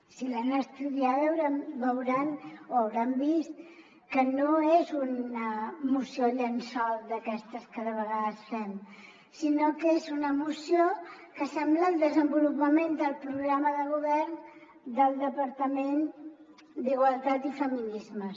si l’han estudiada deuen haver vist que no és una moció llençol d’aquestes que de vegades fem sinó que és una moció que sembla el desenvolupament del programa de govern del departament d’igualtat i feminismes